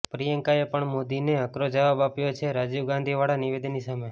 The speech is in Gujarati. પ્રિયંકાએ પણ મોદીને આકરો જવાબ આપ્યો છે રાજીવગાંધી વાળા નિવેદન ની સામે